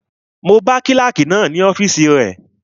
Mo bá kílàkì náà ní ọ́fìsì rẹ